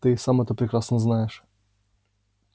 ты и сам это прекрасно знаешь